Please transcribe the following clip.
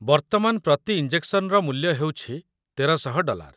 ବର୍ତ୍ତମାନର ପ୍ରତି ଇଞ୍ଜେକ୍ସନର ମୂଲ୍ୟ ହେଉଛି ୧୩୦୦ ଡଲାର।